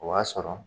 O b'a sɔrɔ